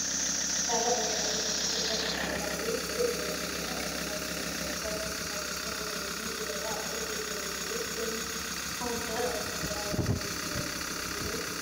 ካብ ዓይነታት መስታት ኣብ ላዕሊ እነሪኦ ዘለና ኮይኑ ኣልኮላዊ መስተታት ካብ ዝበሃሉ ከም ዋይን፣ ቢራ፣ ኣረቂ ዝመሳሳሉእንትኮኑ ንስኩም ከ ኣርኮላዊ መስተ ትሰትዩ ዶ ?